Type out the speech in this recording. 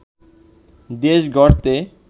দেশ গড়তে